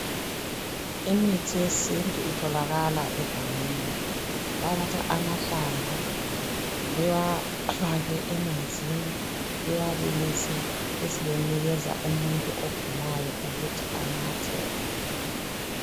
imithi yesintu itholakala egangeni bayathatha amahlamvu bewafake emanzini bewabilise besebenikeza umuntu ogulayo ukuthi anathe